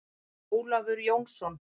Ólafur Jónsson.